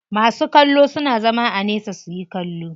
Masu kallo suna zama a nesa suyi kallo.